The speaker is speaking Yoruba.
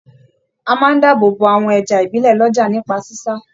À máa n dáàbò bò àwọn ẹja ibilẹ l'ọja nípa sisa.